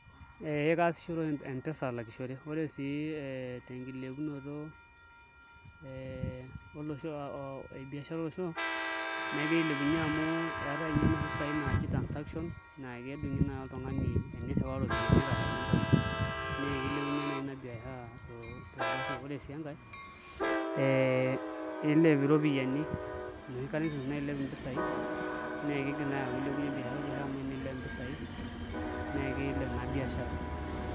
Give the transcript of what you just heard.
Ee kaasishore oshi M-pesa alakishore, ore sii tenkilepunoto e biashara esimu negira ailepunye amu eetai inye inoshi pisaai naaji transaction naa kedung'i naa oltung'ani enirriwaa iropiyiani ashu enintau naa kilepunyie naai ina biashara tolosho, ore sii enkae ee iilep iropiyiani inoshi currencies nailep impisaai naa kiigial naai aaku ilepunye biashara olosho amu teniilep naai mpisaai naa kiilep naa biashara.